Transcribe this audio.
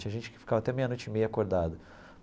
Tinha gente que ficava até meia-noite e meia acordada.